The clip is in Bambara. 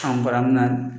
An bara mun na